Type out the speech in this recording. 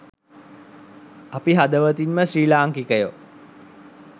අපි හදවතින්ම ශ්‍රී ලාංකිකයෝ